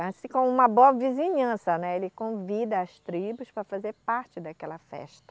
Assim como uma boa vizinhança, né, ele convida as tribos para fazer parte daquela festa.